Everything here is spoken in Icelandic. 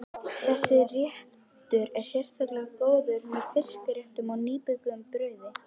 Þessi réttur er sérlega góður með fiskréttum og nýbökuðu brauði.